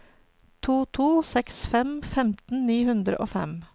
to to seks fem femten ni hundre og fem